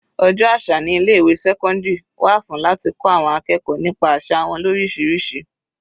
Ọjọ́ àṣà ní ilé ìwé sẹ́cọ́ndírì wà fún láti kọ́ àwọn akẹ́kọ̀ọ́ nípa àsà wọn lorisirisi.